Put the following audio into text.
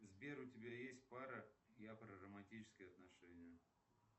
сбер у тебя есть пара я про романтические отношения